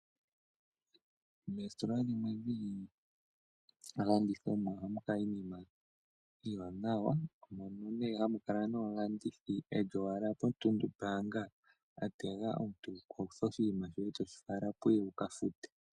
Moositola dhimwe dhiilandithomwa ohamu kala iinima iiwanawa. Mono ha mu kala nomulandithi e li owala potunumbaanga, a tega omuntu wu kuthe oshinima shoye e toshi fala pu ye wu ka fute.